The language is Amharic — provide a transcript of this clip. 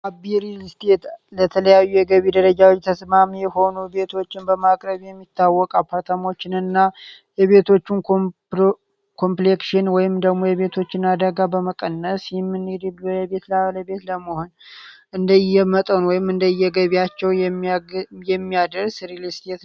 አቤ ሪልእስቴት ለተለያዩ የገቢ ደረጃዎች ተስማሚ የሆኑ ቤቶችን በመቅረቢ የሚታወቅ አፓተሞችን እና የቤቶቹን ኮምፕሌክሽን ይም ደግሞ የቤቶችን አደጋ በመቀነስ ቤት ለ ቤት ለመሆን እንደ እየመጠን እንደ የገቢያቸው የሚያደርስ ሪል እስቴት ነው።